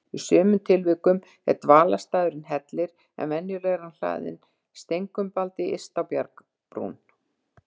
Í sumum tilvikum er dvalarstaðurinn hellir, en venjulega er hann hlaðinn steinkumbaldi yst á bjargbrún.